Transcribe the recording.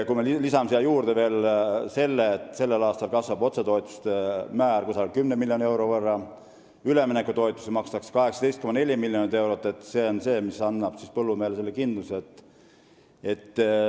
Kui me lisame siia juurde veel, et sellel aastal kasvavad otsetoetused umbes 10 miljoni euro võrra ja makstakse 18,4 miljonit eurot üleminekutoetusi, siis annab see põllumehele kindluse.